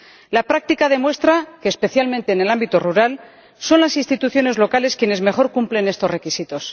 La práctica demuestra que, especialmente en el ámbito rural, son las instituciones locales quienes mejor cumplen estos requisitos.